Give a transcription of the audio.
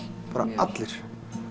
bara allir